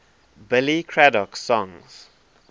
billy craddock songs